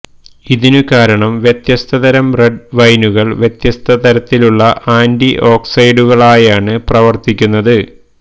ഇതിനു കാരണം വ്യത്യസ്ത തരം റെഡ് വൈനുകൾ വ്യത്യസ്ത തരത്തിലുള്ള ആന്റിഓക്സിഡന്റുകളായാണ് പ്രവർത്തിക്കുന്നത്